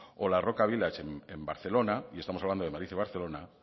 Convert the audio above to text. o la roca village en barcelona y estamos hablando de madrid y barcelona